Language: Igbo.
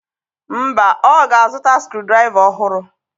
Mba, ọ ga-azụta skru draịva ọhụrụ.